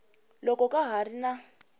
loko ka ha ri na